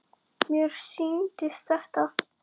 Mér sýndist þetta.